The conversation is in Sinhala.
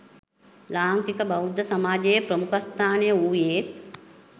ලාංකික බෞද්ධ සමාජයේ ප්‍රමුඛස්ථානය වූයේත්